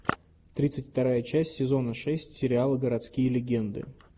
тридцать вторая часть сезона шесть сериала городские легенды